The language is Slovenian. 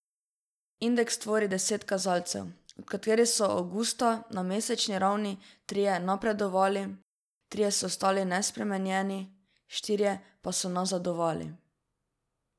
Indeks tvori deset kazalcev, od katerih so avgusta na mesečni ravni trije napredovali, trije so ostali nespremenjeni, štirje pa so nazadovali.